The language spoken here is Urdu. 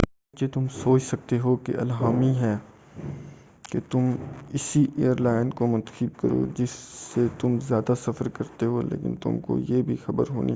اگرچہ تم سوچ سکتے ہو کہ یہ اِلہامی ہے کہ تم اسی ایر لائن کو منتخب کرو جس سے تم زیادہ سفر کرتے ہو لیکن تم کو یہ بھی خبر ہونی